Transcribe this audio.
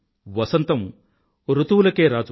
వసంతం ఋతువులకే రాజు